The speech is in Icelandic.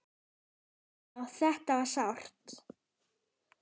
Já, þetta var sárt.